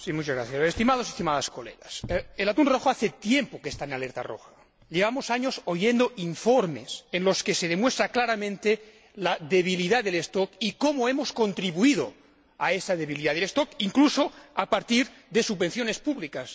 Señor Presidente, estimados y estimadas colegas, el atún rojo hace tiempo que está en alerta roja, y llevamos años oyendo informes en los que se demuestra claramente la debilidad del stock y cómo hemos contribuido a esa debilidad del stock, incluso a partir de subvenciones públicas.